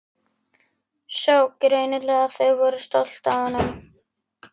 Sá greinilega að þau voru stolt af honum.